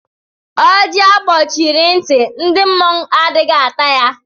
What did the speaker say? Ọjị a gbochiri ntị, ndị mmụọ adịghị ata ya.